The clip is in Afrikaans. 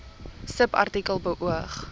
subartikel beoog